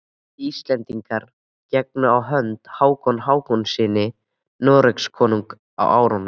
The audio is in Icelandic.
Íslendingar gengu á hönd Hákoni Hákonarsyni Noregskonungi á árunum